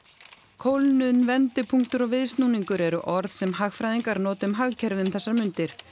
kólnun vendipunktur og viðsnúningur eru orð sem hagfræðingar nota um hagkerfið um þessar mundir